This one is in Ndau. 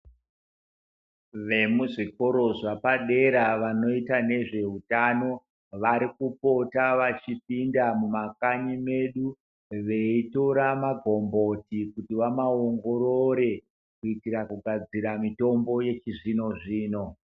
Vemuzvikoro zvapadera vanoita nezveutano varikupota vachipinda mumakanyi medu veitora mabhomboti kuti vamaongorore kuitira kugadzira mitombo yechizvino zvino